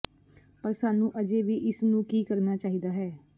ਪਰ ਸਾਨੂੰ ਅਜੇ ਵੀ ਇਸ ਨੂੰ ਕੀ ਕਰਨਾ ਚਾਹੀਦਾ ਹੈ